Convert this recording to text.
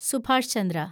Subhash Chandra